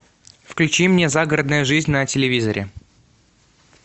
включи мне загородная жизнь на телевизоре